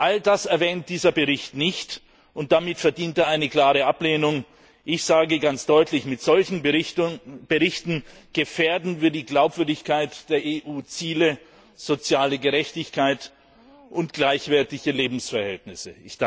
All das erwähnt dieser Bericht nicht, und damit verdient er eine klare Ablehnung. Ich sage ganz deutlich Mit solchen Berichten gefährden wir die Glaubwürdigkeit der EU Ziele soziale Gerechtigkeit und gleichwertige Lebensverhältnisse!